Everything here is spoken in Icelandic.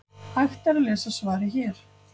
hægt er að lesa svarið hér